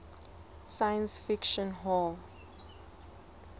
science fiction hall